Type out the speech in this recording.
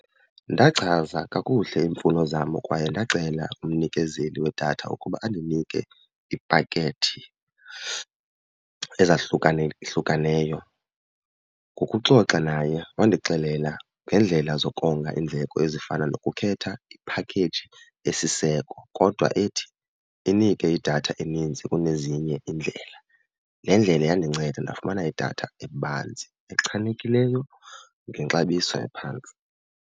Ndachaza kakuhle iimfuno zam kwaye ndacela umnikezeli wedatha ukuba andinike iipakethi ezahlukanehlukeneyo. Ngokuxoxa naye wandixelela ngeendlela zokonga iindleko ezifana nokukhetha iphakheyiji esiseko kodwa ethi inike idatha eninzi kunezinye iindlela. Le ndlela yandinceda ndafumana idatha ebanzi, echanekileyo ngexabiso eliphantsi.